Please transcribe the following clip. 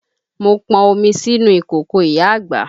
Mo pọn omi sínú ìkòkò ìyá àgbà